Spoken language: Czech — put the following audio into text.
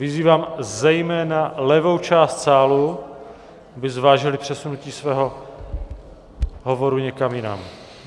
Vyzývám zejména levou část sálu, aby zvážila přesunutí svého hovoru někam jinam.